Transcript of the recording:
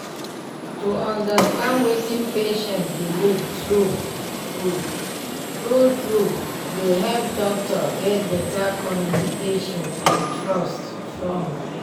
to understand wetin patient believe true true true true dey help doctor get better communication and trust strong.